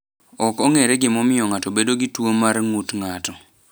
Ok ong’ere gima omiyo ng’ato bedo gi tuwo mar ng’ut ng’ato.